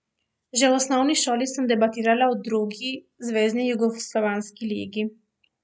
Že v osnovni šoli sem debitirala v drugi zvezni jugoslovanski ligi.